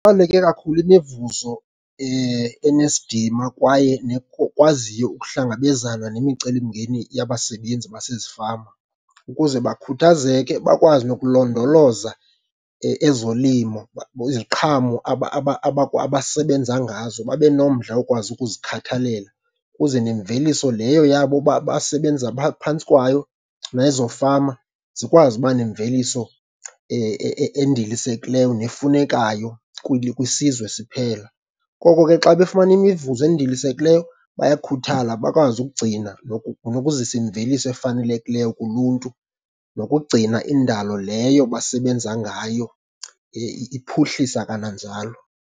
Ibaluleke kakhulu imivuzo enesidima kwaye nekwaziyo ukuhlangabezana nemicelimngeni yabasebenzi basezifama ukuze bakukhuthazeke, bakwazi nokulondoloza ezolimo. Iziqhamo abasebenza ngazo, babe nomdla wokwazi ukuzikhathalela ukuze nemveliso leyo yabo basebenza phantsi kwayo, nezo fama zikwazi uba nemveliso endilisekileyo nefunekayo kwisizwe siphela. Koko ke xa befumana imivuzo endilisekileyo, bayakhuthala bakwazi ukugcina nokuzisa imveliso efanelekileyo kuluntu nokugcina indalo leyo basebenza ngayo, iphuhlisa kananjalo.